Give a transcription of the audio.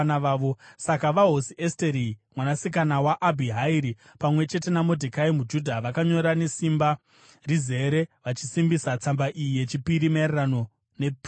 Saka vaHosi Esteri, mwanasikana waAbhihairi, pamwe chete naModhekai muJudha, vakanyora nesimba rizere vachisimbisa tsamba iyi yechipiri maererano nePurimu.